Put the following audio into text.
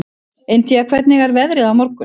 Indía, hvernig er veðrið á morgun?